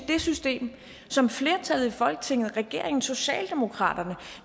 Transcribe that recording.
det system som flertallet i folketinget regeringen socialdemokratiet